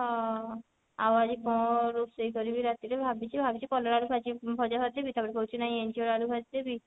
ହଁ ଆଉ ଆଜି କଣ ରୋଷେଇ କରିବି ରାତି ରେ ଭାବିଛି ଭାବିଛି କଲରା ଆଳୁ ଭାଜି ଭଜା ଭାଜି ଦେବି ତାପରେ କହୁଛି ନାଇଁ ଇଞ୍ଚଡ ଆଳୁ ଭାଜି ଦେବି